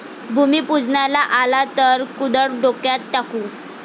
भूमीपूजनाला आला तर कुदळ डोक्यात टाकू'